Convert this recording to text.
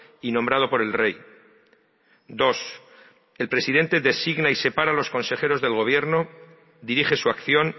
y nombrado por el rey dos el presidente designa y separa a los consejeros del gobierno dirige su acción